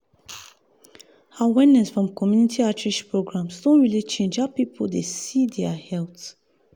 people need to talk more about community outreach programs programs during community events.